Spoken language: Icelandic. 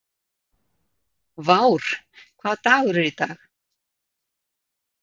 Vár, hvaða dagur er í dag?